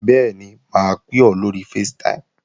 Bẹ́ẹ̀ni, mà á pè ọ́ lóri facetime